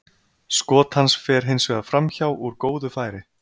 Skot hans fer hins vegar framhjá úr góðu færi.